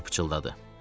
Artur pıçıltıladı.